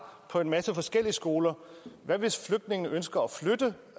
på en masse forskellige skoler hvad hvis flygtningene ønsker at flytte